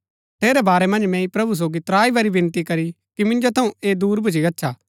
ठेरै बारै मन्ज मैंई प्रभु सोगी त्राई बरी विनती करी कि मिन्जो थऊँ ऐह दूर भूच्ची गच्छा